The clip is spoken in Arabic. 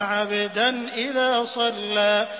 عَبْدًا إِذَا صَلَّىٰ